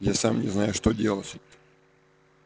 я сам не знаю что делать